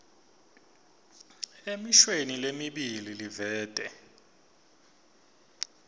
emishweni lemibili livete